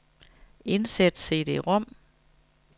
Indsæt cd-rom.